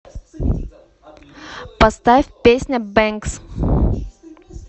поставь песня бэнкс